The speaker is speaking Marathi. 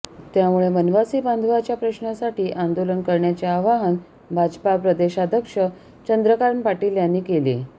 त्यामुळे वनवासी बांधवांच्या प्रश्नांसाठी आंदोलन करण्याचे आवाहन भाजपा प्रदेशाध्यक्ष चंद्रकांत पाटील यांनी केले